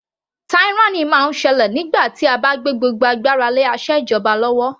Tyranny máa ń ṣẹlẹ̀ nígbà tí a bá gbé gbogbo agbára lé asèjọba lọ́wọ́.